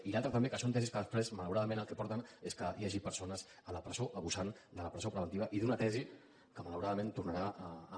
i l’altre també que són tesis que després malauradament al que porten és que hi hagi persones a la presó abusant de la presó preventiva i d’una tesi que malauradament tornarà a